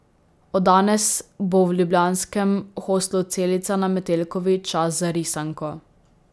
Od danes bo v ljubljanskem hostlu Celica na Metelkovi čas za risanko.